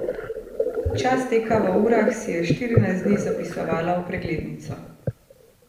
Čas teka v urah si je štirinajst dni zapisovala v preglednico.